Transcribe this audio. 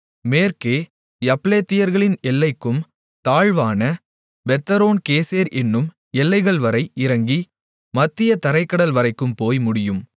மேற்கே யப்லெத்தியர்களின் எல்லைக்கும் தாழ்வான பெத்தொரோன் கேசேர் என்னும் எல்லைகள்வரை இறங்கி மத்திய தரைக் கடல் வரைக்கும் போய் முடியும்